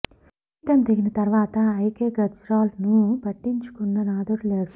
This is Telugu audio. పీఠం దిగిన తర్వాత ఐకే గుజ్రాల్ ను పట్టించుకున్న నాథుడు లేడు